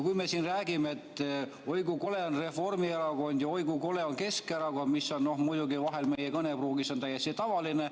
Me siin räägime, et oi kui kole on Reformierakond ja oi kui kole on Keskerakond, mis muidugi vahel on meie kõnepruugis täiesti tavaline.